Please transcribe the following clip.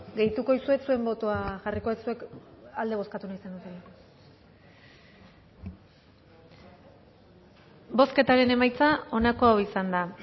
gehituko dizuet zuen botoa jarriko dut zuek alde bozkatu nahi zenutela beno